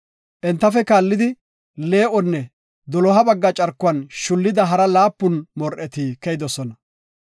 Entafe kaallidi, lee7onne doloha bagga carkuwan shullida hara laapun mor7eti keyidosona.